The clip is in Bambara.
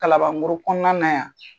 Kalabancɔrɔ kɔnɔna na yan